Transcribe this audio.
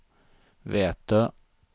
Vätö